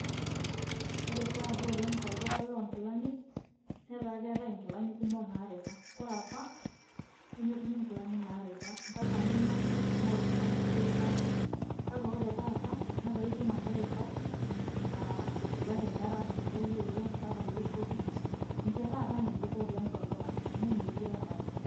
ore taata oleng tolduka loonkilani netaa keetae inkilani kumok naaripa. ore apa, nemetumi nkilani naripa. mpaka ninyiangu ning'oru oltungani likiripaki, ore taata netaa itum ake eripa, isulaki, irkarash kulo lioring' mpaka iloishopi. ninche taat ilngejuko oleng tolduka amu metii apa.